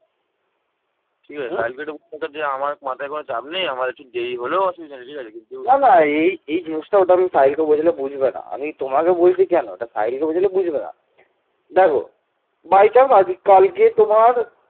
তিনি সমগ্র উত্তর ভারতব্যাপী বিশাল সামরিক অভিযান প্রেরণ করেছিলেন।